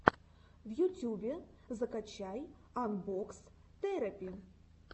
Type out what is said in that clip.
в ютюбе закачай анбокс терэпи